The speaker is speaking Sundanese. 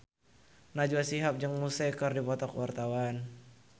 Najwa Shihab jeung Muse keur dipoto ku wartawan